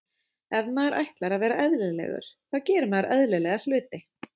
Ef maður ætlar að vera eðlilegur þá gerir maður eðlilega hluti.